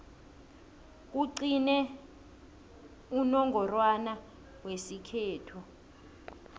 kugcine unongorwana wesikhethu